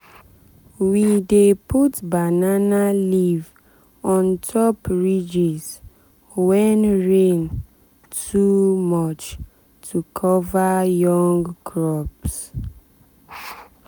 we dey put banana leaf on top ridges when rain too much to cover young crops.